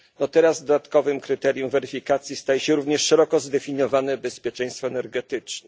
teraz dodatkowym kryterium weryfikacji staje się również szeroko zdefiniowane bezpieczeństwo energetyczne.